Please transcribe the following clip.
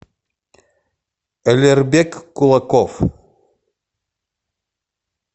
алербек кулаков